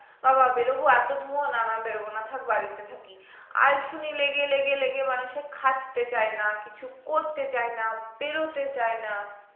বাবাঃ বেরাবো এত ধুয়ো না না থাক বাড়িতে থাকি আলসেমি লেগে লেগে লেগে মানুষে খাটতে চায় না কিছু করতে চায়না বেরোতে চায় না